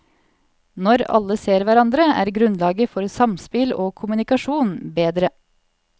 Når alle ser hverandre, er grunnlaget for samspill og kommunikasjon bedre.